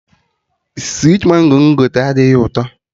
Switi Mango mụ gotere adịghị ụtọ